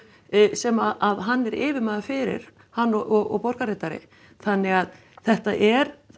sem hann er yfirmaður fyrir hann og borgarritari þannig að þetta er